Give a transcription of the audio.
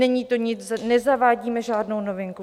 Není to nic, nezavádíme žádnou novinku.